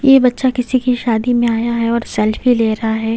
ये बच्चा किसी की शादी में आया है और सेल्फी ले रहा है।